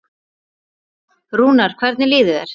Rúnar, hvernig líður þér?